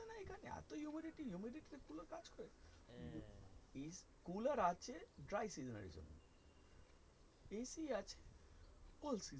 হ্যাঁ একদম ফালতু মাল weather টা